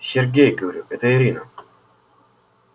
сергей говорю это ирина